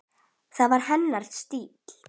Það var hennar stíll.